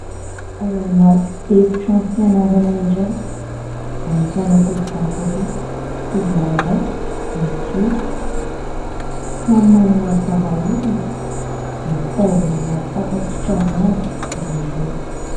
Ao anaty efi-trano fianarana iray ahitana tovovavy roa sy tovolahy iray mijoro samy manao aro vava orina mitazona marim-pasitrahana avy izy ireo.